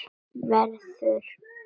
Verður perla.